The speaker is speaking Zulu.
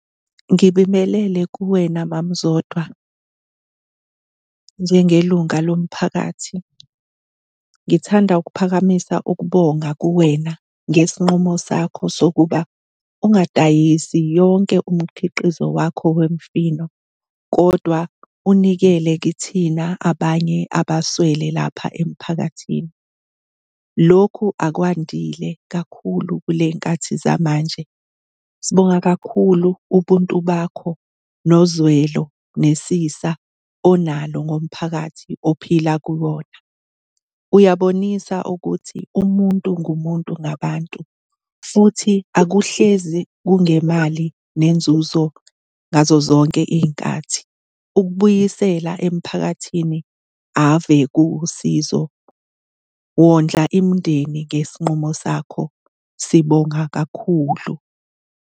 Ngibingelele kuwena mama uZodwa. Njengelunga lomphakathi ngithanda ukuphakamisa ukubonga kuwena ngesinqumo sakho sokuba ungadayisi yonke umkhiqizo wakho wemifino, kodwa unikele kithina abanye abaswele lapha emphakathini. Lokhu akwandile kakhulu kule y'nkathi zamanje. Sibonga kakhulu ubuntu bakho nozwelo lwesisa onalo ngomphakathi ophila kuwona. Uyabonisa ukuthi umuntu ngumuntu ngabantu futhi akuhlezi kungemali nenzuzo ngazozonke iy'nkathi. Ukubuyisela emphakathini ave kuwusizo, wondla imindeni ngesinqumo sakho. Sibonga kakhulu.